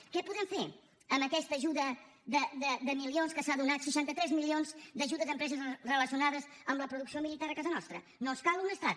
què podem fer amb aquesta ajuda de milions que s’ha donat seixanta tres milions d’ajudes a empreses relacionades amb la producció militar a casa nostra no ens cal un estat